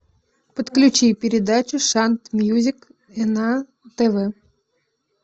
подключи передачу шант мьюзик на тв